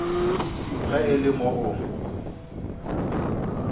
ge e le moo o